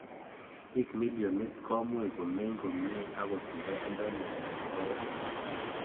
Piik millionit komuch kominy komnye angot ndatindoi mindap kawek